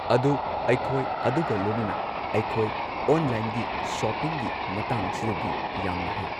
ꯑꯗꯨ ꯑꯩꯈꯣꯏ ꯑꯗꯨꯒ ꯂꯣꯏꯅꯅ ꯑꯩꯈꯣꯏ ꯑꯣꯟꯂꯥꯏꯟꯒꯤ ꯁꯣꯞꯄꯤꯡꯒꯤ ꯃꯇꯥꯡꯁꯤꯗꯗꯤ ꯌꯥꯝꯅ ꯍꯩ꯫